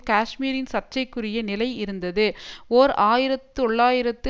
காஷ்மீரின் சர்ச்சசைக்குரிய நிலை இருந்ததுஓர் ஆயிர தொள்ளாயிரத்து